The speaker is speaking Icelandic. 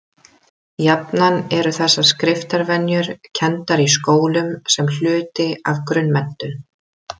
Jafnan eru þessar skriftarvenjur kenndar í skólum sem hluti af grunnmenntun.